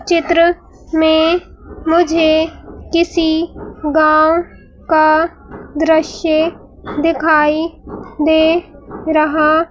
चित्र में मुझे किसी गांव का दृश्य दिखाई दे रहा--